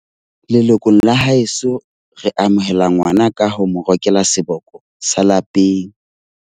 Lelokong la haeso, re amohela ngwana ka ho mo rokela seboko sa lapeng.